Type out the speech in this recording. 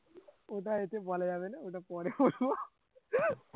ওটা বলা যাবে না ওটা পরে বলবো